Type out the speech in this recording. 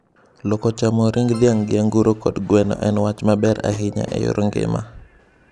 Loko chamo ring dhiang' gi anguro kod gweno en wacg ma ber ahinya e yor ngima.